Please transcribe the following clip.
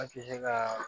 An tɛ se ka